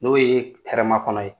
N'o ye hɛrɛma kɔnɔ ye